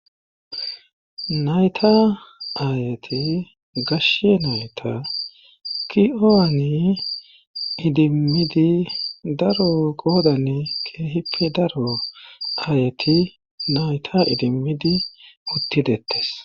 Nayta aayati gashe nayta ki'oani idimmidi daro goodane keehippe daro ayati nayta idimmidi uttidettes'